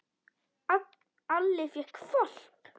Alli fékk hvolp.